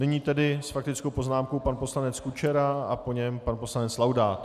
Nyní tedy s faktickou poznámkou pan poslanec Kučera a po něm pan poslanec Laudát.